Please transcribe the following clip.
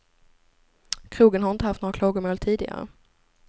Krogen har inte haft några klagomål tidigare.